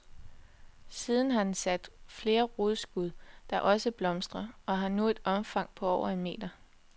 Siden har den sat flere rodskud, der også blomstrer, og har nu et omfang på over en meter.